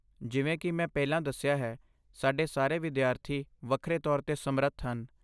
ਜਿਵੇਂ ਕਿ ਮੈਂ ਪਹਿਲਾਂ ਦੱਸਿਆ ਹੈ, ਸਾਡੇ ਸਾਰੇ ਵਿਦਿਆਰਥੀ ਵੱਖਰੇ ਤੌਰ 'ਤੇ ਸਮਰੱਥ ਹਨ।